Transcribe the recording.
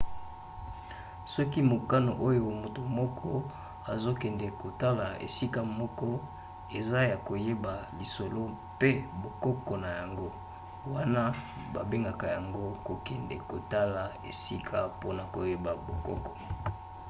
soki mokano oyo moto moko azokende kotala esika moko eza ya koyeba lisolo mpe bokoko na yango wana babengaka yango kokende kotala esika mpona koyeba bokoko